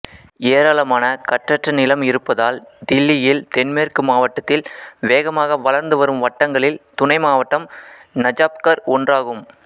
ஏராளமான கட்டற்ற நிலம் இருப்பதால் தில்லியின் தென்மேற்கு மாவட்டத்தில் வேகமாக வளர்ந்து வரும் வட்டங்களில் துணை மாவட்டம் நஜாப்கர் ஒன்றாகும்